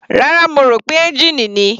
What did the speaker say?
Rárá, mo rò pé ẹ́ngìnì ni.